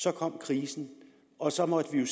så kom krisen og så måtte vi jo